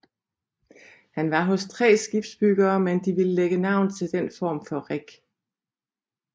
Han var hos tre skibsbygger men de ville lægge navn til den form for rig